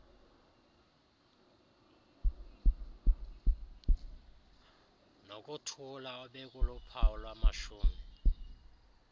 nokuthula obekuluphawu lwamashumi